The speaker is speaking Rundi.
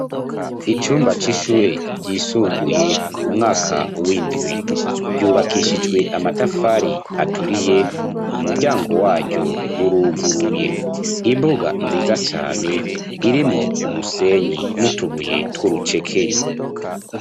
Icumba c'ishure ryisumbuye umwaka windwi, ry'ubakishijwe amatafari aturiye Umuryango waryo uruguruye imbuga nziza cane irimwo umusenyi nutubuye twurucekeri.